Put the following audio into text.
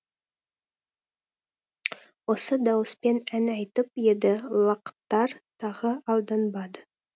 осы дауыспен ән айтып еді лақтар тағы алданбады